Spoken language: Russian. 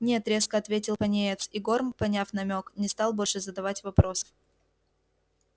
нет резко ответил пониетс и горм поняв намёк не стал больше задавать вопросов